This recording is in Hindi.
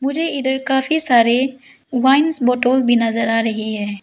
मुझे इधर काफी सारे वाइंस बोतल भी नजर आ रही है।